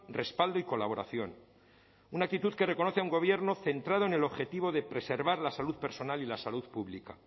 respaldo y colaboración una actitud que reconoce a un gobierno centrado en el objetivo de preservar la salud personal y la salud pública